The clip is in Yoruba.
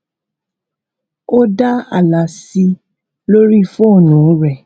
ó dá ààlà sí i lórí fónú rẹ